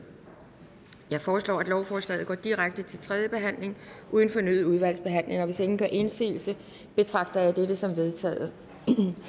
jeg foreslår at lovforslaget går direkte til tredje behandling uden fornyet udvalgsbehandling hvis ingen gør indsigelse betragter jeg dette som vedtaget